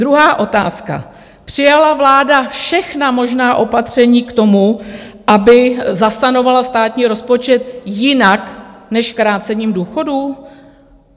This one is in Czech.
Druhá otázka: Přijala vláda všechna možná opatření k tomu, aby zasanovala státní rozpočet jinak než krácením důchodů?